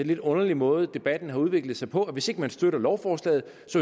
lidt underlig måde debatten har udviklet sig på nemlig at hvis ikke man støtter lovforslaget